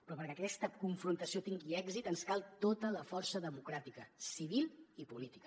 però perquè aquesta confrontació tingui èxit ens cal tota la força democràtica civil i política